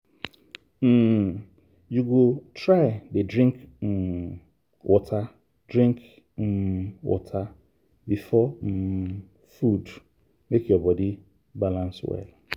um you go try dey drink um water drink um water before um food make your body balance well.